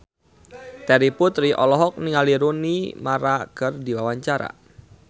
Terry Putri olohok ningali Rooney Mara keur diwawancara